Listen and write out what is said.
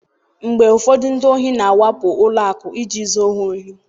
mgbe ụfọdụ ndị ohi na-awakpo ụlọ akụ iji zuo ha ohi